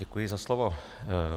Děkuji za slovo.